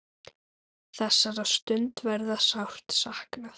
Þessara stunda verður sárt saknað.